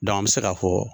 an bɛ se k'a fɔ